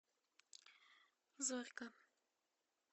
зорька